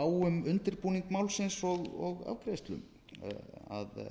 um undirbúning málsins og afgreiðslu að það er